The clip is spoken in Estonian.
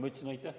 Ma ütlesin aitäh.